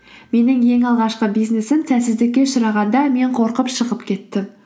менің ең алғашқы бизнесім сәтсіздікке ұшырағанда мен қорқып шығып кеттім